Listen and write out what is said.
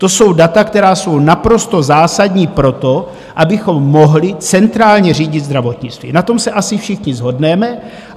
To jsou data, která jsou naprosto zásadní pro to, abychom mohli centrálně řídit zdravotnictví, na tom se asi všichni shodneme.